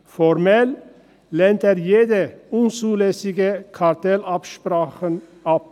Formell lehnt er jede unzulässige Kartellabsprache ab.